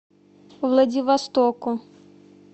владивостоку